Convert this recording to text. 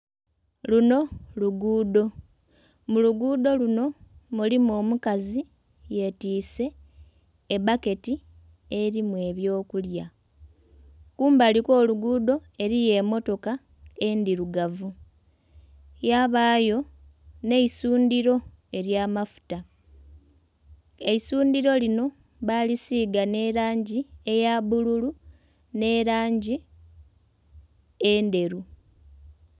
Luno luguudo mu luguudo luno mulimu omukazi yetise ebbaketi erimu ebyokulya kumbali okw'oluguudo eriyo emotoka endhirugavu yabayo n'eisundiro erya amafuta. Eisundhiro lino bali siga n'erangi eya bbululu n'erangi endheru.